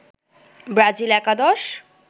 Brazil একাদশ